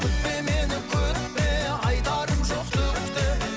күтпе мені күтпе айтарым жоқ түк те